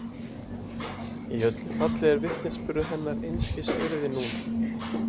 Í öllu falli er vitnisburður hennar einskis virði núna.